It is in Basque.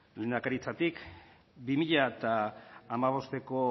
lehendakaritzatik bi mila hamabosteko